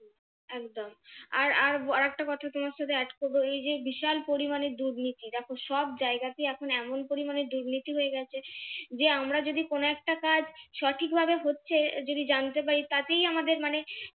আর আর একটা কথা তোমার সাথে add করবো এই যে বিশাল পরিমাণে দুর্নীতি দেখো সব জায়গাতেই এখন এমন পরিমাণে দুর্নীতি হয়ে গেছে যে আমরা যদি কোন একটা কাজ সঠিক ভাবে হচ্ছে যদি জানতে পারি তাতেই আমাদের মানে